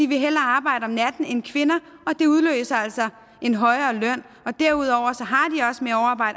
vil hellere arbejde om natten end kvinder og det udløser altså en højere løn og derudover